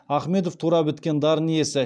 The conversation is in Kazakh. ахмедов туа біткен дарын иесі